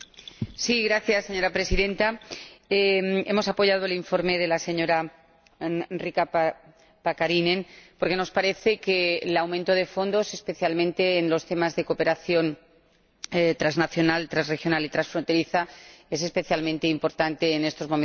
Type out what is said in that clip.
Señora Presidenta, hemos apoyado el informe de la señora Riikka Pakarinen porque nos parece que el aumento de fondos, especialmente en los temas de cooperación transnacional, transregional y transfronteriza, es especialmente importante en estos momentos para Europa.